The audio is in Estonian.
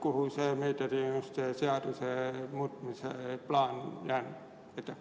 Kuhu see meediateenuste seaduse muutmise plaan jäänud on?